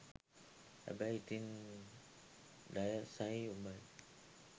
හැබැයි ඉතින් ඩයසයි උඹයි